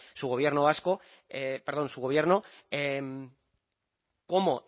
su gobierno cómo